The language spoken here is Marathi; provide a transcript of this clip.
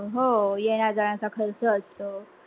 हो, येण्या जाण्या चा खर्च असत